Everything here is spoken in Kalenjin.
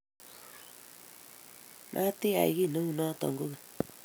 Matiyai kiy neunoto kogeny